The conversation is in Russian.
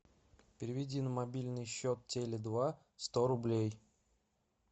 переведи на мобильный счет теле два сто рублей